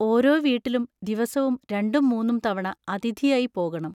ഓരോ വീട്ടിലും ദിവസവും രണ്ടും മൂന്നും തവണ അതിഥിയായി പോകണം.